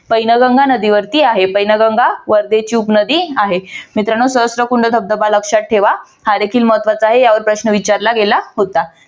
पैनगंगा नदीवरती आहे. पैनगंगा वर्धेची उपनदी आहे. मित्रांनो सहस्त्रकुंड धबधबा लक्षात ठेवा. हा देखील महत्वाचा आहे. यावर प्रश्न विचारला गेला होता.